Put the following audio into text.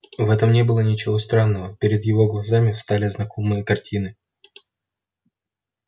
в этом не было ничего странного перед его глазами встали знакомые картины